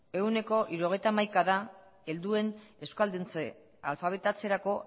ehuneko hirurogeita hamaika helduen euskalduntze alfabetatzerako